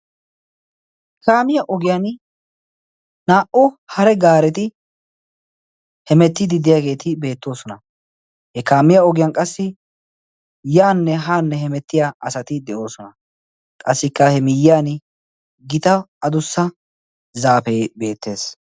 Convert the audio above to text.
He kaamiya ogiyan naa"u hare gaareti hemettiidi deyaageeti beettoosona he kaamiya ogiyan qassi yaanne haanne hemettiya asati de'oosona. qassikka he miyyiyan gita adussa zaapee beettees.